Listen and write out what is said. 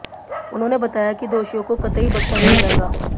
उन्होंने बताया कि दोषियों को कतई बख्शा नहीं जाएगा